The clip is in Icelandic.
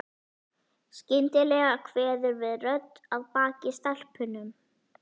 Skyndilega kveður við rödd að baki stelpunum.